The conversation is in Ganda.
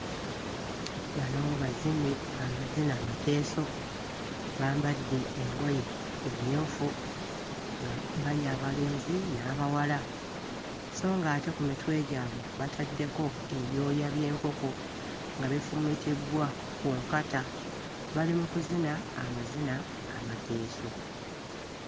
Bano bazinyi ba mazina mateeso, bambadde engoye emmyufu nga bali abalenzi n'abawala sso ng'ate ku mitwe gyabwe bataddeko ebyoya by'enkoko nga bifumitiddwa ku nkata bali mu kuzina amazina amateeso.